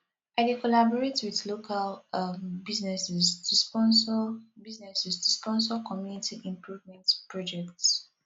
i dey collaborate with local um businesses to sponsor businesses to sponsor community improvement projects